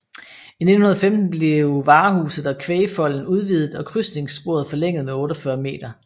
I 1915 blev varehuset og kvægfolden udvidet og krydsningssporet forlænget med 48 m